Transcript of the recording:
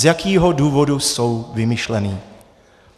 Z jakého důvodu jsou vymyšlené?